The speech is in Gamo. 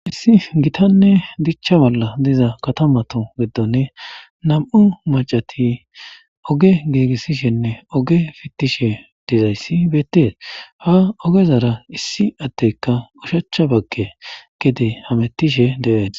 issi gitanne dichcha bolla diza katamato giddonne nam"u macati oge giigissishenne oge fittishe dizayssi beettees. ha ogezara issi atteka ushacha bagge gede hamettishe deees.